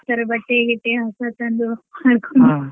sir ಬಟ್ಟಿ ಗಿಟ್ಟಿ ಎಲ್ಲ ಹೊಸತಂದು .